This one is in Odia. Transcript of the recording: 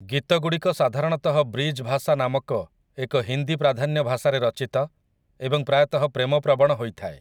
ଗୀତଗୁଡ଼ିକ ସାଧାରଣତଃ ବ୍ରିଜ୍ ଭାସା ନାମକ ଏକ ହିନ୍ଦୀ ପ୍ରାଧାନ୍ୟ ଭାଷାରେ ରଚିତ ଏବଂ ପ୍ରାୟତଃ ପ୍ରେମପ୍ରବଣ ହୋଇଥାଏ ।